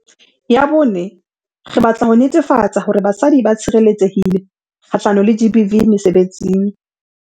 Ya bone, re batla ho netefatsa hore basadi ba tshireletsehile kgahlano le GBV mesebetsing.